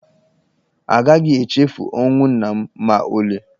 A gaghị echefu ọnwụ nna m ma ọlị.